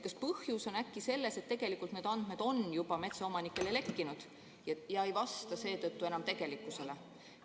Kas põhjus on äkki selles, et tegelikult need andmed on juba metsaomanikele lekkinud ja ei vasta seetõttu enam tegelikkusele?